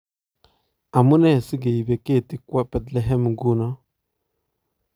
Amunee si keibe ketii kwo Bethlehem nguno?